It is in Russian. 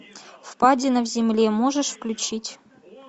впадина в земле можешь включить